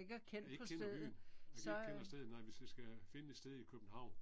Og ikke kender byen. Og ikke kender stedet nej, hvis jeg skal finde et sted i København.